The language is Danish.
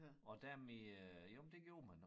Og dem i øh jamen det gjorde man